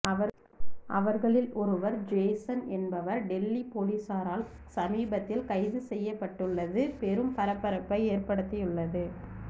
அவர்களில் ஒருவர் ஜேசன் என்பவர் டெல்லி போலீசாரால் சமீபத்தில் கைது செய்யப்பட்டுள்ளது பெரும் பரபரப்பை ஏற்படுத்தியுள்ளது